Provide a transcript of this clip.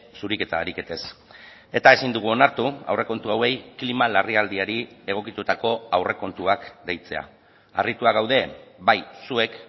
zuriketa ariketez eta ezin dugu onartu aurrekontu hauei klima larrialdiari egokitutako aurrekontuak deitzea harrituak gaude bai zuek